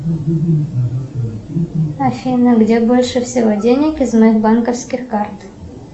афина где больше всего денег из моих банковских карт